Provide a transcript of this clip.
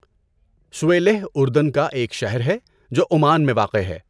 Suwaylih اردن کا ایک شہر ہے جو عمان میں واقع ہے۔